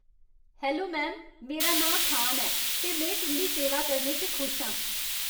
Hello ma'am, मेरा नांऽ खान ऐ ते में तुं'दी सेवा करने च खुश आं।